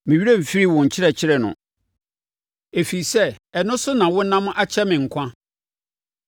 Me werɛ remfiri wo nkyerɛkyerɛ no, ɛfiri sɛ ɛno so na wonam akyɛe me nkwa so.